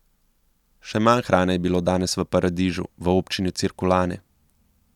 Še manj hrane je bilo danes v Paradižu v občini Cirkulane.